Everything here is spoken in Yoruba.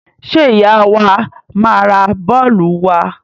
Ṣé ìyá wa máa ra bọ́ọ́lù wa?